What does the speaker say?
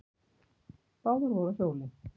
Báðar voru á hjóli.